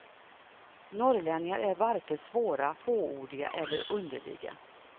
Norrlänningar är varken svåra, fåordiga eller underliga.